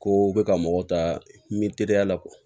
Ko bɛ ka mɔgɔ ta n bɛ teriya la